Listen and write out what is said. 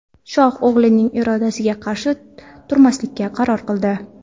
Shoh o‘g‘lining irodasiga qarshi turmaslikka qaror qildi.